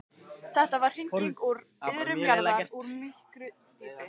Þetta var hringing úr iðrum jarðar, úr myrku djúpi.